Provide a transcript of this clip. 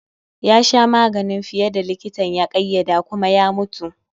yasha maganin fiye da likitan ya ƙaiyade kuma ya mutu.